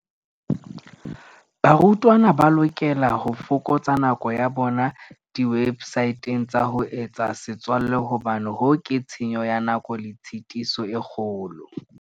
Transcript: Barutwana ba lokela ho fokotsa nako ya bona diwebsateng tsa ho etsa setswalle hobane hoo ke tshenyo ya nako le tshitiso e kgolo.